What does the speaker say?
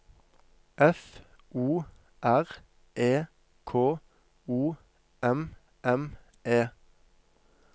F O R E K O M M E